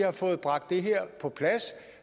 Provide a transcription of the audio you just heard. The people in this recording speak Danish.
har fået bragt det her på plads